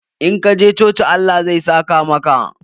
In ka je coci Allah zai saka maka.